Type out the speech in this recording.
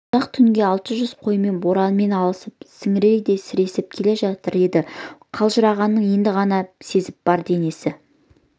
ұзақ түнге алты жүз қоймен боранмен алысып сіңірдей сіресіп келе жатыр еді қалжырағанын енді ғана сезіп бар денесі